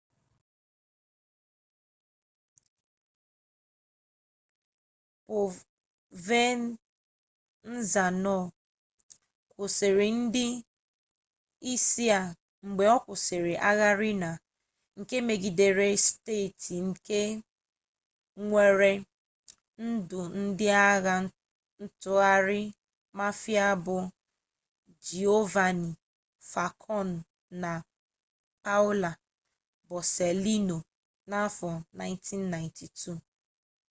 povenzano kwụsịrị ndị isi a mgbe ọ kwụsịrị agha riina nke megidere steeti nke weere ndụ ndị agha ntụgharị mafia bụ giovanni falkon na paolo borsellino n'afọ 1992